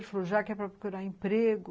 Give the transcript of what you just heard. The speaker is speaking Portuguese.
Ele falou, já que ia procurar emprego.